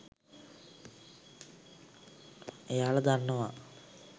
එයාල දන්නවා